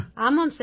ஆமாம் சார்